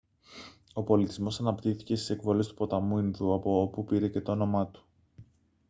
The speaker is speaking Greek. ο πολιτισμός αναπτύχθηκε στις εκβολές του ποταμού ινδού από όπου πήρε και το όνομά του